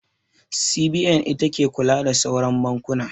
CBN ita ke kula da sauran bankuna.